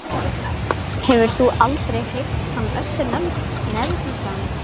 Hefurðu aldrei heyrt hann Össur nefndan?